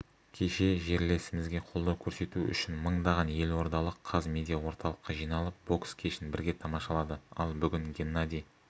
кеше жерлесімізге қолдау көрсету үшін мыңдаған елордалық қазмедиаорталыққа жиналып бокс кешін бірге тамашалады ал бүгін геннадий